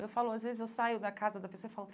Eu falo, às vezes eu saio da casa da pessoa e falo,